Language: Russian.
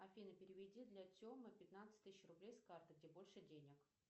афина переведи для темы пятнадцать тысяч рублей с карты где больше денег